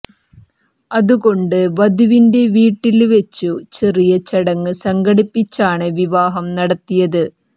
അതുകൊണ്ട് വധുവിന്റെ വീട്ടില് വെച്ച് ചെറിയ ചടങ്ങ് സംഘടിപ്പിച്ചാണ് വിവാഹം നടത്തിയത്